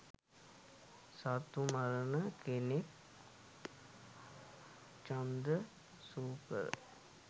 සත්තු මරණ කෙනෙක් චුන්ද සූකර.